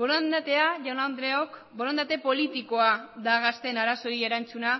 borondatea jaun andreok borondate politikoa da gazteen arazoei erantzuna